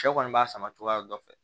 Cɛ kɔni b'a sama cogoya dɔ fɛ